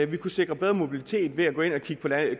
vi kunne sikre bedre mobilitet ved at gå ind og kigge på